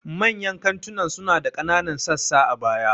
Manyan kantunan suna da ƙananan sassa a baya.